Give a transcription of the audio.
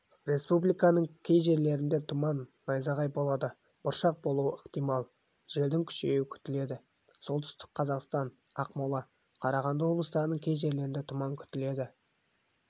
республиканың кей жерлерінде тұман найзағай болады бұршақ болуы ықтимал желдің күшеюі күтіледі солтүстік қазақстан ақмола қарағанды облыстарының кей жерлерінде тұман күтіледі